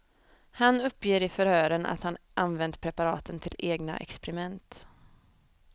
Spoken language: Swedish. Han uppger i förhören att han använt preparaten till egna experiment.